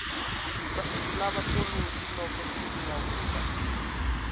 ndzi lava toloki loko ndzi vulavula